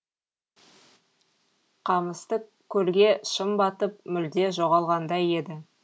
қамысты көлге шым батып мүлде жоғалғандай еді